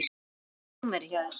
Hvað er númerið hjá þér?